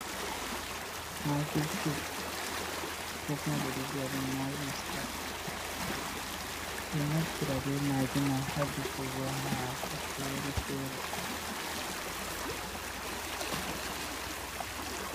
Maggi cub ko kuma ɓeɗo vi'aɗum maggi star, ɓeɗo Naftira be maggi man ha defugo hako fere-fere.